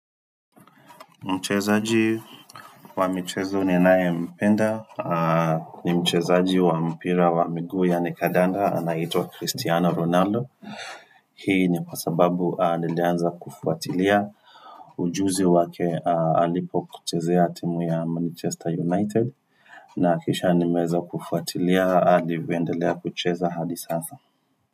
Mchezaji wa mchezo ninayempenda, ni mchezaji wa mpira wa miguu yaani kadanda, anaitwa Cristiano Ronaldo. Hii ni kwa sababu nilianza kufuatilia ujuzi wake alipo kuchezea timu ya Manchester United, na kisha nimeweza kufuatilia alivyoendelea kuchezea hadi sasa.